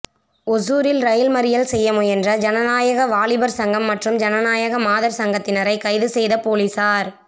ஒசூரில் ரயில் மறியல் செய்ய முயன்ற ஜனநாயக வாலிபா் சங்கம் மற்றும் ஜனநாயக மாதா் சங்கத்தினரை கைது செய்த போலீஸாா்